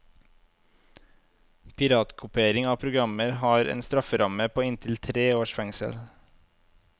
Piratkopiering av programmer har en strafferamme på inntil tre års fengsel.